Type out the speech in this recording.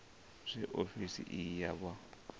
zwe ofisi iyi ya vha